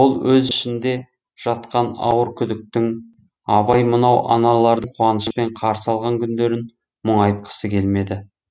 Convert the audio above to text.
ол өз ішінде жатқан ауыр күдіктің абай мынау аналардың қуанышпен қарсы алған күндерін мұңайтқысы келмеді